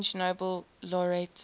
french nobel laureates